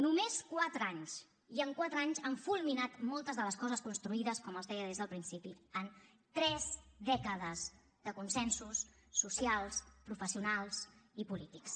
només quatre anys i en quatre anys han fulminat moltes de les coses construïdes com els deia des del principi en tres dècades de consensos socials professionals i polítics